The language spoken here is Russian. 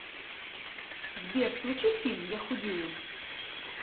сбер включи фильм я худею